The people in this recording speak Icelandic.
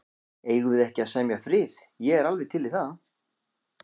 Eigum við ekki að semja frið. ég er alveg til í það.